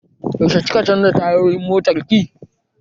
Yaushe ki ka canza tayoyin motar ki?